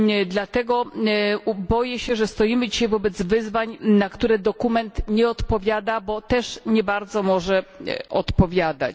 Dlatego boję się, że stoimy dzisiaj wobec wyzwań, na które dokument nie odpowiada, bo też nie bardzo może odpowiadać.